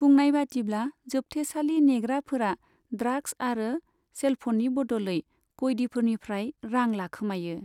बुंनायबादिब्ला जोबथेसालि नेग्राफोरा ड्राग्स आरो सेलफ'ननि बदलै कयदिफोरनिफ्राय रां लाखोमायो।